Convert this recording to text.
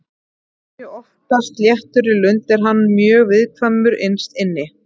Þó að hann sé oftast léttur í lund er hann mjög viðkvæmur innst inni.